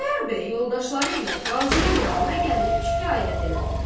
Xudayar bəy yoldaşları ilə qazının yanına gəlib şikayət elədilər.